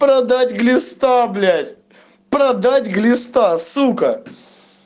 продать глиста блять продать глиста сука